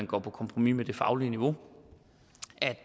gå på kompromis med det faglige niveau